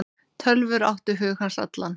Tölvur áttu hug hans allan.